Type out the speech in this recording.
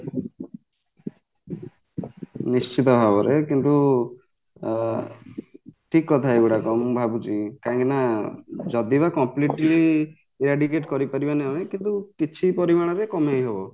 ନିଶ୍ଚିନ୍ତ ଭାବରେ କିନ୍ତୁ ଆଁ ଠିକ କଥା ଏଗୁଡାକ ମୁ ଭାବୁଛି କାହିଁକିନା ଯଦି ବା completely air digit କରିପାରିବନି ଆମେ କିନ୍ତୁ କିଛି ପରିମାଣରେ କମେଇ ହବ